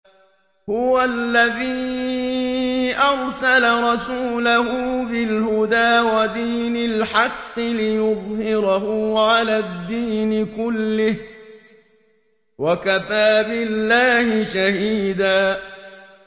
هُوَ الَّذِي أَرْسَلَ رَسُولَهُ بِالْهُدَىٰ وَدِينِ الْحَقِّ لِيُظْهِرَهُ عَلَى الدِّينِ كُلِّهِ ۚ وَكَفَىٰ بِاللَّهِ شَهِيدًا